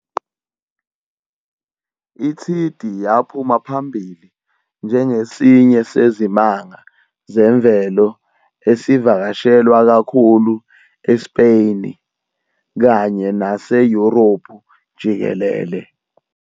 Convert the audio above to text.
iThidi yaphuma phambili njengesinye seZimanga Zemvelo esivakashelwa kakhulu eSpeyni kanye nase Yurophu jikelele.